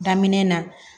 Daminɛ na